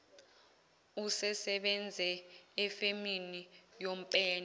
usesebenze efemini yopende